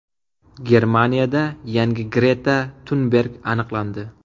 Germaniyada yangi Greta Tunberg aniqlandi.